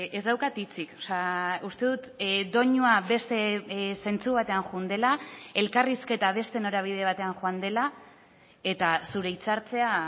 ez daukat hitzik uste dut doinua beste zentzu batean joan dela elkarrizketa beste norabide batean joan dela eta zure hitzartzea